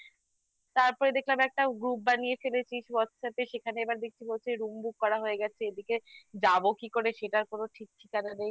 তারপরে দেখলাম একটা group বানিয়ে ফেলেছিস whatsApp এ সেখানে এবার দেখছি বলছে room book করা হয়ে গেছে এদিকে যাবো কি করে সেটার কোনো ঠিক ঠিকানা নেই